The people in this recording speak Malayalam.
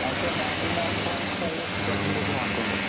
ക്ക് ninety nine point five percentage mark ഉണ്ട്